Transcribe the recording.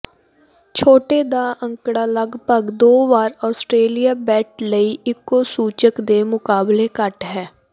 ਛੋਟੇ ਦਾ ਅੰਕੜਾ ਲਗਭਗ ਦੋ ਵਾਰ ਆਸਟ੍ਰੇਲੀਆ ਬੇਟ ਲਈ ਇੱਕੋ ਸੂਚਕ ਦੇ ਮੁਕਾਬਲੇ ਘੱਟ ਹੈ